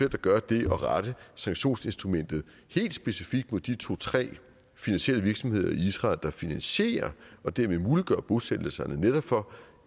at gøre det at rette sanktionsinstrumentet helt specifikt mod de to til tre finansielle virksomheder i israel der finansierer og dermed muliggør bosættelserne netop for